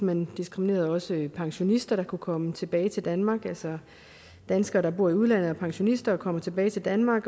man diskriminerede også pensionister der kunne komme tilbage til danmark altså danskere der bor i udlandet og som pensionister kommer tilbage til danmark